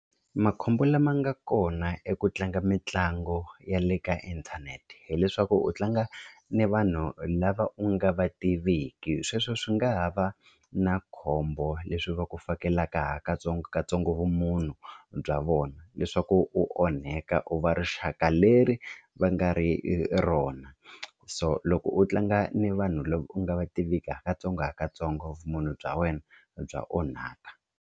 Makhombo lama nga kona i ku tlanga mitlango ya le ka inthanete hileswaku u tlanga ni vanhu lava u nga va tiveki sweswo swi nga ha va na khombo leswi va ku fakelelaka ha katsongokatsongo vumunhu bya vona leswaku u onheka u va rixaka leri va nga ri rona so loko u tlanga ni vanhu lava u nga va tiviki hakantsongohakantsongo vumunhu bya wena bya onhaka.